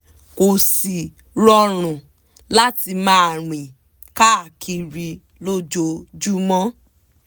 kó sì rọrùn láti máa rìn káàkiri lójoojúmọ́